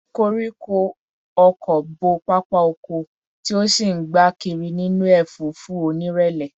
Koríko ọ̀kọ̀ bo pápá oko, tí ó sì ń gbá kiri nínú ẹ̀fúùfù onírẹ̀lẹ̀